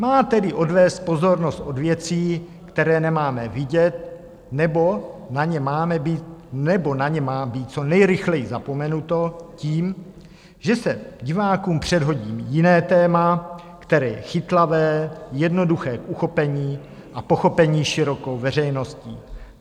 Má tedy odvést pozornost od věcí, které nemáme vidět nebo na ně má být co nejrychleji zapomenuto, tím, že se divákům předhodí jiné téma, které je chytlavé, jednoduché k uchopení a pochopení širokou veřejností.